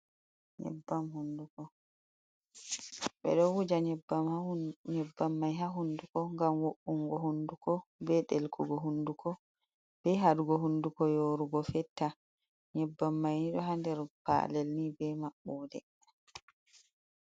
Yinban hunduko, Be do wuja nyibbam mai ha hunduko gam wo’ungo hunduko, be deggogo hunduko, be hadugo hunduko yorugo fetta, nyibbam mai ni do ha der palel nii be mabbode.